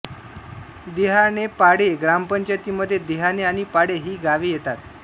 देहाणेपाळे ग्रामपंचायतीमध्ये देहाणे आणि पाळे ही गावे येतात